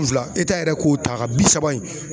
N fila eta yɛrɛ k'o ta ka bi saba in